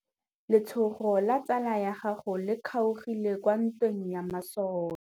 Letsôgô la tsala ya gagwe le kgaogile kwa ntweng ya masole.